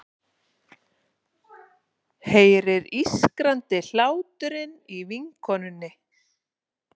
Heyrir ískrandi hláturinn í vinkonunni.